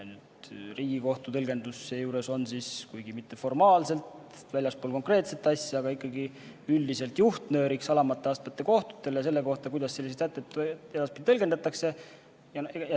Riigikohtu tõlgendus on seejuures – kuigi mitte formaalselt väljaspool konkreetset asja, aga ikkagi üldiselt – juhtnööriks alamate astmete kohtutele selle kohta, kuidas selliseid sätteid edaspidi tõlgendatakse.